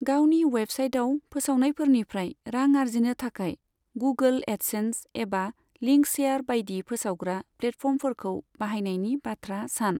गावनि वेबसाइटाव फोसावनायफोरनिफ्राय रां आरजिनो थाखाय गूगोल, एडसेन्स एबा लिंकशेयार बायदि फोसावग्रा प्लेटफर्मफोरखौ बाहायनायनि बाथ्रा सान।